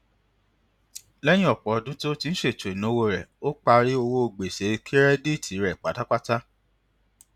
lẹyìn ọpọ ọdún tí ó fi ń ṣètò ináwó rẹ ó parí owó gbèsè kẹrẹdíìtì rẹ pátápátá